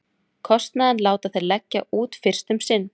Kostnaðinn láta þeir leggja út fyrst um sinn.